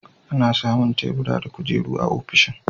Ana samun tebura da kujeru a ofishin.